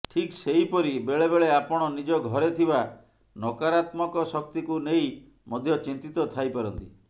ଠିକ୍ ସେହିପରି ବେଳେବେଳେ ଆପଣ ନିଜ ଘରେ ଥିବା ନକାରାତ୍ମକ ଶକ୍ତିକୁ ନେଇ ମଧ୍ୟ ଚିନ୍ତିତ ଥାଇ ପାରନ୍ତି